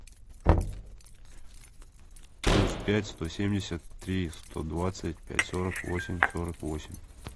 плюс пять сто семьдесят три сто двадцать пять сорок восемь сорок восемь